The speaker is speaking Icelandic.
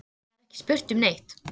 Það er ekki spurt um neitt.